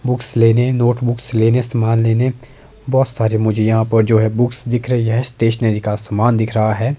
Books लेने notebooks लेने सामान लेने बहोत सारे मुझे यहां पर जो है बुक्स दिख रही है स्टेशनरी का यहां पर सामान दिख रहा है।